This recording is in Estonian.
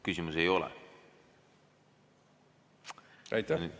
Küsimusi ei ole.